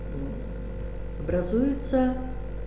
образуется